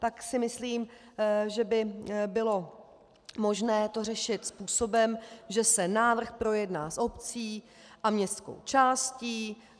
Tak si myslím, že by bylo možné to řešit způsobem, že se návrh projedná s obcí a městskou částí.